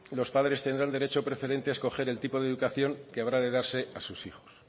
los padres tendrán derecho preferente a escoger el tipo de educación que habrá de darse a sus hijos